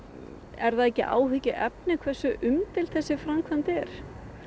er það ekki áhyggjuefni hversu umdeild þessi framkvæmd er